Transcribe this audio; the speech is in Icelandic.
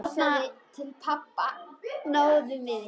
Þarna náðum við ykkur!